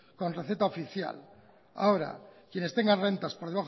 con receta oficial ahora quienes tengan rentas por